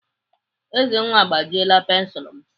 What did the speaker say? Ezenwa agbajiela pensilu m.